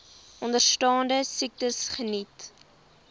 onderstaande siektes geniet